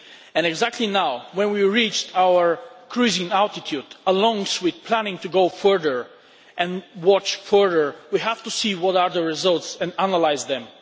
And exactly now, when we have reached our cruising altitude, along with planning to go further and watch further, we have to see what the results are and analyse them.